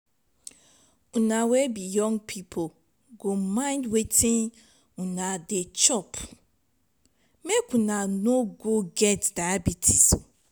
una wey be young pipu go mind wetin una dey chop make una no get diabetes.